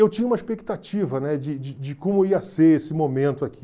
Eu tinha uma expectativa, né, de de de como ia ser esse momento aqui.